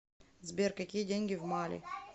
сбер какие деньги в мали